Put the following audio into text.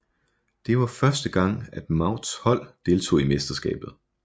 Det var første gang at Mouts hold deltog i mesterskabet